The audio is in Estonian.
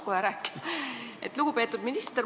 Lugupeetud minister!